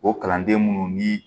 O kalanden minnu ni